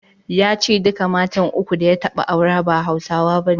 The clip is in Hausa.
Ya ce duka matan uku da ya taɓa aure ba Hausawa bane.